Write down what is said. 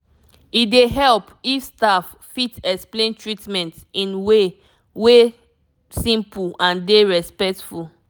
e dey help if staff fit explain treatment in way way wey simple and dey respectful